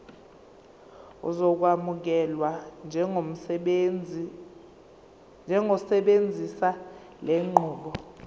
uzokwamukelwa njengosebenzisa lenqubo